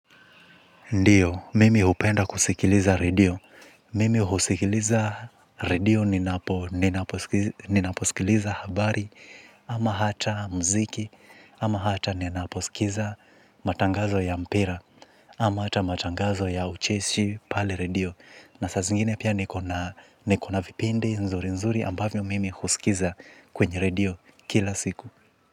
Ndiyo, mimi hupenda kusikiliza redio. Mimi husikiliza redio ninaposikiliza habari, ama hata muziki, ama hata ninaposikiza matangazo ya mpira, ama hata matangazo ya ucheshi pale redio. Na saa zingine pia niko na nikona vipindi nzuri nzuri ambavyo mimi husikiza kwenye redio kila siku.